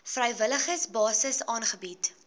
vrywillige basis aangebied